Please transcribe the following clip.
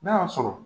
N'a y'a sɔrɔ